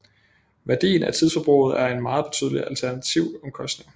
Værdien af tidsforbruget er en meget betydelig alternativomkostning